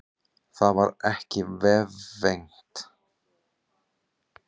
Það varð ekki vefengt.